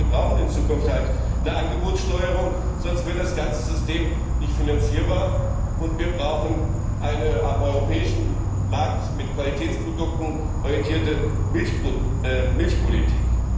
Er hat gesagt, dass wir in Zukunft eine Angebotssteuerung brauchen, sonst wird das ganze System nicht finanzierbar, und wir brauchen eine am europäischen Markt mit Qualitätsprodukten orientierte Milchpolitik.